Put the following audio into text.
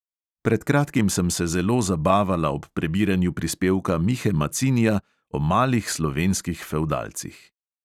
Pred kratkim sem se zelo zabavala ob prebiranju prispevka mihe macinija o malih slovenskih fevdalcih.